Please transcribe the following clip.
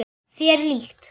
Þér líkt.